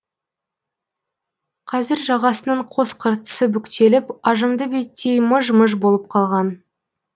қазір жағасының қос қыртысы бүктеліп ажымды беттей мыж мыж болып қалған